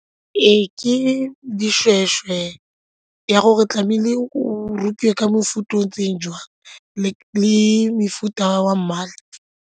Ee, ke dishweshwe ya gore tlamehile o rokiwe ka mofuta o ntseng jang le mefuta wa mmala.